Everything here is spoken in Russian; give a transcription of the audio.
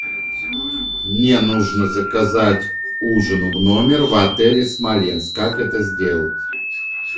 мне нужно заказать ужин в номер в отеле смоленск как это сделать